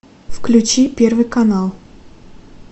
включи первый канал